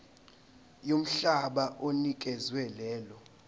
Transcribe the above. yomhlaba onikezwe lelo